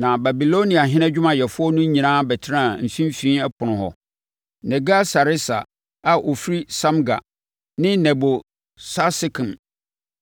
Na Babiloniahene adwumayɛfoɔ no nyinaa bɛtenaa Mfimfini Ɛpono hɔ: Nergal-Sareser a ɔfiri Samgar ne Nebo-Sarsekim